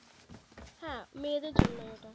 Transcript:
হ্যাঁ মেয়েদের জনই ওটা